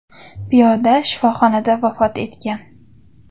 Piyoda shifoxonada vafot etgan.